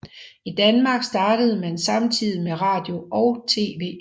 I Danmark startede man samtidigt med radio og TV